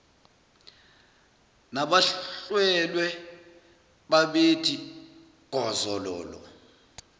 nabahlwelwe babethi gozololo